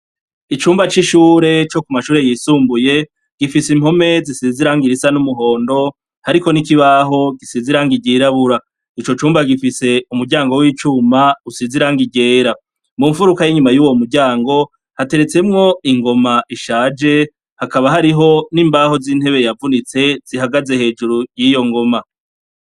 Icumba c'ishure co ku mashure yisumbuye gifise impome zisize irangi risa n'umuhondo hariko n'ikibaho gisize irangi ryirabura. Ico cumba gifise umuryango w'icuma usize irangi ryera . Mu mfuruka y'inyuma y'uwo muryango hateretsemwo ingoma ishaje hakaba hariho n'imbaho z'intebe yavunitse zihagaze hejuru y'iyo ngoma.